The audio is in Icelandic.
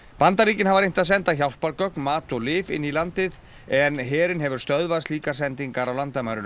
Bandaríkin hafa reynt að senda hjálpargögn mat og lyf inn í landið en herinn hefur stöðvað slíkar sendingar á landamærunum